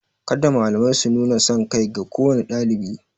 Kada malamai su nuna sankai ga kowane ɗalibi.